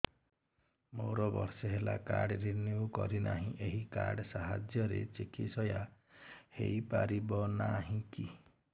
ମୋର ବର୍ଷେ ହେଲା କାର୍ଡ ରିନିଓ କରିନାହିଁ ଏହି କାର୍ଡ ସାହାଯ୍ୟରେ ଚିକିସୟା ହୈ ପାରିବନାହିଁ କି